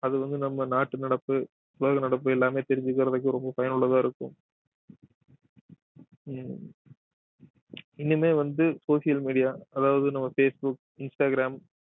அது வந்து நம்ம நாட்டு நடப்பு உலக நடப்பு எல்லாமே தெரிஞ்சுக்கறதுக்கு ரொம்ப பயனுள்ளதா இருக்கும் உம் இனிமே வந்து social media அதாவது நம்ம பேஸ் புக் இன்ஸ்டாகிராம்